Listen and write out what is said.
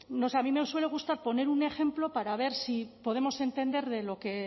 no sé a mí me suele gustar poner un ejemplo para ver si podemos entender de lo que